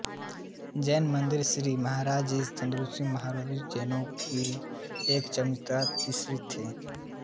जैन मंदिर श्री महावीरजी श्री चंदनपुर महावीरियां जैनों की एक चमत्कारी तीर्थयात्री है